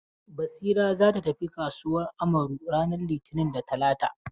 Basira za ta tafi kasuwan Amaru ranar litini da talata.